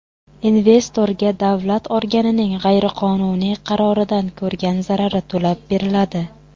Investorga davlat organining g‘ayriqonuniy qaroridan ko‘rgan zarari to‘lab beriladi.